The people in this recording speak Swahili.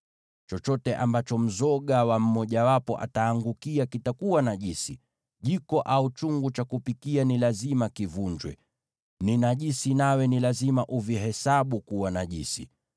Chochote ambacho mzoga wa mmojawapo utaangukia kitakuwa najisi. Jiko au chungu cha kupikia ni lazima kivunjwe. Ni najisi, nawe ni lazima uvihesabu kuwa najisi.